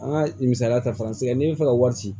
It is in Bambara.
An ka misaliya ta fa n'i bɛ fɛ ka wari ci